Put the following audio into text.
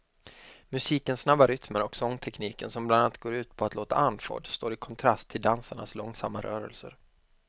Musikens snabba rytmer och sångtekniken som bland annat går ut på att låta andfådd står i kontrast till dansarnas långsamma rörelser.